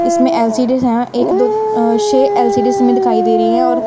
इसमें एल_सी_डी है एक दो अ शे एल_सी_डी इसमे दिखाई दे रही हैं और--